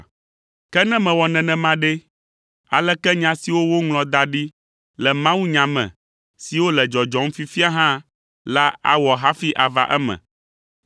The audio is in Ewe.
Ke ne mewɔ nenema ɖe, aleke nya siwo woŋlɔ da ɖi le mawunya me siwo le dzɔdzɔm fifia hã la awɔ hafi ava eme?”